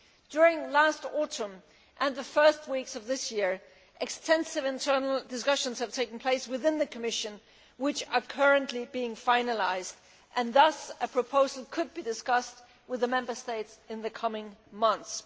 During last autumn and the first weeks of this year, extensive internal discussions have taken place within the Commission which are currently being finalised, and thus a proposal could be discussed with the Member States in the coming months.